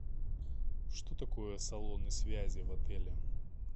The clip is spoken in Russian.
что такое салоны связи в отеле